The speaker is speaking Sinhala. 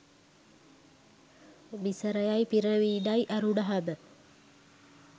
මිසරයයි පිරමීඩයි ඇරුනහම